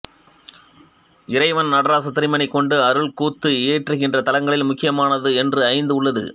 இறைவன் நடராசத் திருமேனி கொண்டு அருட்கூத்து இயற்றுகின்ற தலங்களில் முக்கியமானவை என்று ஐந்து உள்ளது